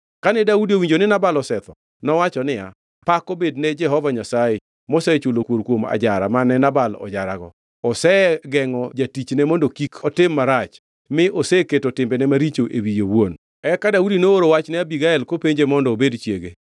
Kane Daudi owinjo ni Nabal osetho, nowacho niya, “Pak obed ne Jehova Nyasaye, mosechulo kuor kuom ajara mane Nabal ojarago. Osegengʼo jatichne mondo kik otim marach mi oseketo timbene maricho e wiye owuon.” Eka Daudi nooro wach ne Abigael, kopenje mondo obed chiege.